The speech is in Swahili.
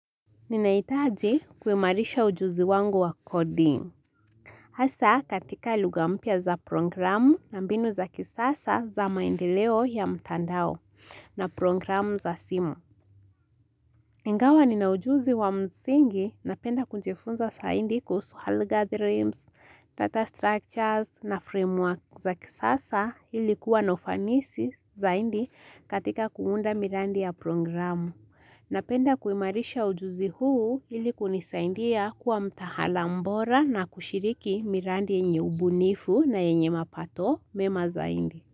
Ninaitaji kuimarisha ujuzi wangu wa coding. Asa katika lugha mpya za programu na mbinu za kisasa za maendeleo ya mtandao na programu za simu. Ingawa nina ujuzi wa msingi na penda kujifunza zaidi kuhusu hall gatherings, data structures na framework za kisasa ilikuwa na ufanisi zaidi katika kuunda mirandi ya programu. Napenda kuimarisha ujuzi huu ili kunisaindia kuwa mtaalam bora na kushiriki miradi yenye ubunifu na yenye mapato mema zaidi.